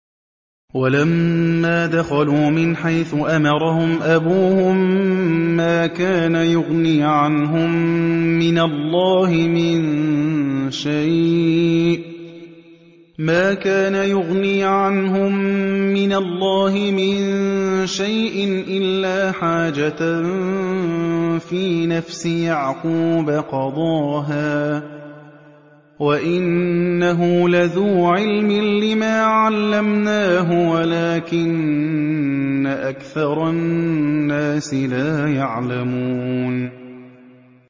وَلَمَّا دَخَلُوا مِنْ حَيْثُ أَمَرَهُمْ أَبُوهُم مَّا كَانَ يُغْنِي عَنْهُم مِّنَ اللَّهِ مِن شَيْءٍ إِلَّا حَاجَةً فِي نَفْسِ يَعْقُوبَ قَضَاهَا ۚ وَإِنَّهُ لَذُو عِلْمٍ لِّمَا عَلَّمْنَاهُ وَلَٰكِنَّ أَكْثَرَ النَّاسِ لَا يَعْلَمُونَ